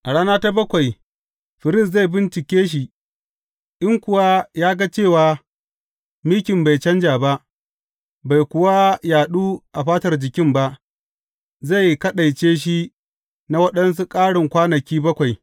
A rana ta bakwai firist zai bincike shi, in kuwa ya ga cewa mikin bai canja ba, bai kuwa yaɗu a fatar jikin ba, zai kaɗaice shi na waɗansu ƙarin kwana bakwai.